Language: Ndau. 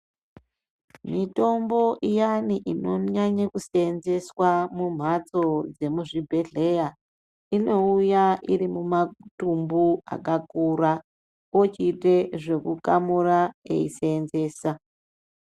Mitombo iyani inonyanye kusenzeswa mumhatso dzemuzvibhedhleya. Inouya iri mumatumbu akakura ochiite zvekukamura echisenzesa.